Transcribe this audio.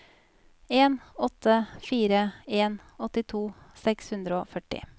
en åtte fire en åttito seks hundre og førti